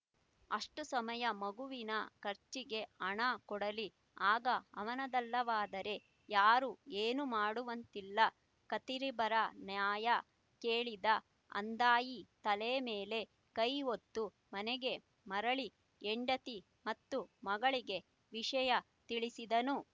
ಅಷ್ಟು ಸಮಯ ಮಗುವಿನ ಖರ್ಚಿಗೆ ಹಣ ಕೊಡಲಿ ಅಗಾ ಅವನದಲ್ಲವಾದರೆ ಯಾರೂ ಏನೂ ಮಾಡುವಂತಿಲ್ಲ ಖತೀರಿಬರ ನ್ಯಾಯ ಕೇಳಿದ ಅಂದಾಯಿ ತಲೆ ಮೇಲೆ ಕೈ ಹೊತ್ತು ಮನೆಗೆ ಮರಳಿ ಹೆಂಡತಿ ಮತ್ತು ಮಗಳಿಗೆ ವಿಷಯ ತಿಳಿಸಿದನು